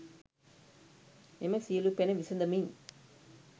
මෙම සියලු පැන විසඳමින්